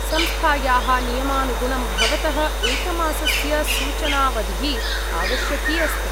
संस्थायाः नियमानुगुणं भवतः एकमासस्य सूचनावधिः आवश्यकी अस्ति।